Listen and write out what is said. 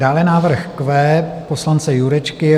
Dále návrh Q poslance Jurečky.